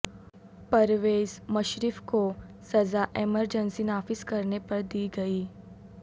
پرویز مشرف کو سزا emergency نافذکرنے پر دی گئی